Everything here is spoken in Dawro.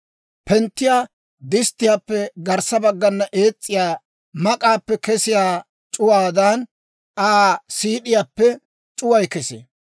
Penttiyaa disttiyaappe garssa baggana ees's'iyaa mak'k'aappe kesiyaa c'uwaadan, Aa siid'iyaappe c'uway kesee.